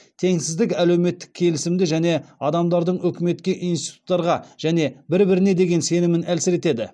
теңсіздік әлеуметтік келісімді және адамдардың үкіметке институттарға және бір біріне деген сенімін әлсіретеді